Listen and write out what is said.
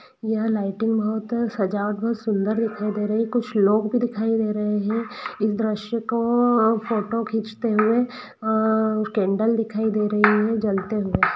यह लाइटिंग बहुत सजावट बहुत सुंदर दिखाई दे रही कुछ लोग भी दिखाई दे रहे हैं इस दृश्य की फोटो खींचते हुए अ कैंडल दिखाई दे रही है जलते हुए।